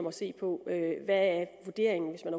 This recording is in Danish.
at se på hvad vurderingen hvis man